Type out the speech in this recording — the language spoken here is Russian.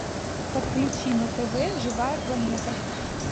подключи на тв живая планета